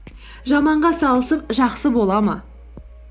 жаманға салысып жақсы бола ма